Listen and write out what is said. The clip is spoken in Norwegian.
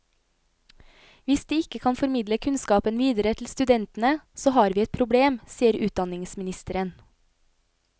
Hvis de ikke kan formidle kunnskapen videre til studentene, så har vi et problem, sier utdanningsministeren.